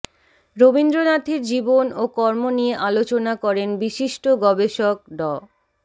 রবীন্দ্রনাথের জীবন ও কর্ম নিয়ে আলোচনা করেন বিশিষ্ট গবেষক ড